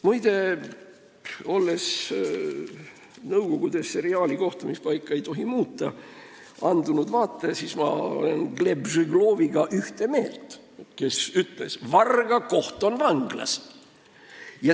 Muide, nõukogude seriaali "Kohtumispaika ei tohi muuta" andunud vaatajana olen ma ühte meelt Gleb Žegloviga, kes ütles: "Varga koht on vanglas.